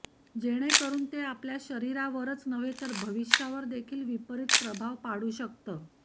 जेणे करून ते आपल्या शरीरावरच नव्हे तर भविष्यावर देखील विपरीत प्रभाव पाडू शकतं